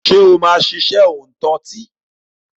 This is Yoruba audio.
Ṣé o máa ṣiṣẹ́ òǹtọtí?